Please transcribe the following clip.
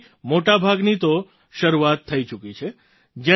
તેમાંથી મોટા ભાગની તો શરૂઆત થઈ ચૂકી છે